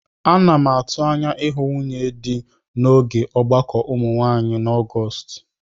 Ana m atụ anya ịhụ nwunye dị n'oge ọgbakọ ụmụ nwaanyị na Ọgọọst.